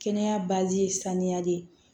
Kɛnɛya ye saniya de ye